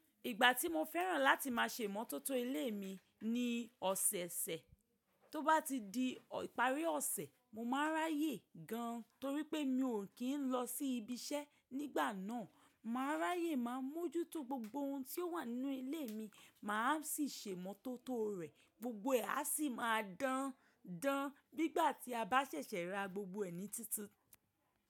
Ìgbà tí mo fẹ́ràn láti máa ṣe ìmọ́tótó ilé mi ni ọ̀sẹ̀ẹ̀sẹ̀. Tó bá ti di ìparí ọ̀sẹ̀, mo máa ráyè gan torí pé mi ò kí ń lọ sí ibi iṣẹ́ nígbà náà. Máa ráyè máa mójútó gbogbo ohun tí ó wà nínú ilé mi, mà á sì ṣe ìmọ́tótó rẹ̀. Gbogbo ẹ á sì máa dándán bí i gbà tí a bá sẹ̀sẹ̀ ra gbogbo ẹ̀ ní títun.